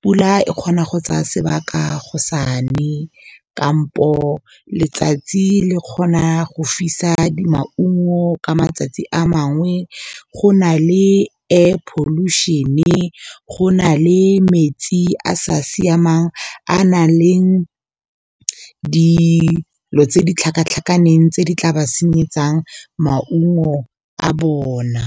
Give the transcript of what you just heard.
Pula e kgona go tsaya sebaka go sane kampo, letsatsi le kgona go fisa maungo ka matsatsi a mangwe. Go na le air pollution-e, go na le metsi a a sa siamang a nang le dilo tse ditlhakatlhakaneng, tse di tla ba senyetsang maungo a bona.